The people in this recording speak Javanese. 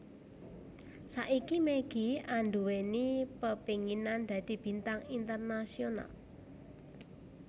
Saiki Maggie anduweni pepenginan dadi bintang internasional